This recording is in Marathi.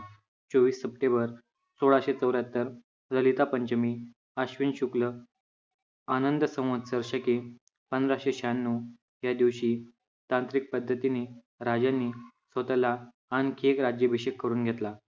चोवीस सप्टेंबर सोळाशे चौऱ्याहत्तर ललिता पंचमी अश्विन शुक्ल आनंद संवत्सर शके पंधराशे शहाण्णव या दिवशी तांत्रिक पद्धतीने राजांनी स्वतःला आणखी एक राज्याभिषेक करून घेतला.